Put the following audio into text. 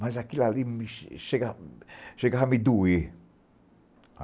Mas aquilo ali me che chegava chegava a me doer.